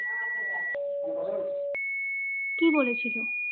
কি বলেছিলো?